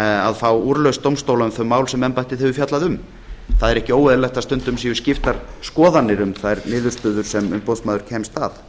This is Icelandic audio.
að fá úrlausn dómstóla um mál sem embættið hefur fjallað um það er ekki óeðlilegt að stundum séu skiptar skoðanir um þær niðurstöður sem umboðsmaður kemst að